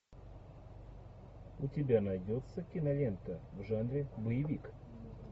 у тебя найдется кинолента в жанре боевик